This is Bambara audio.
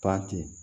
Ba ten